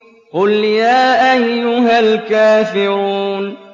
قُلْ يَا أَيُّهَا الْكَافِرُونَ